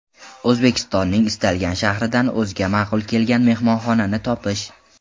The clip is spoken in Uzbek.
O‘zbekistonning istalgan shahridan o‘ziga ma’qul kelgan mehmonxonani topish.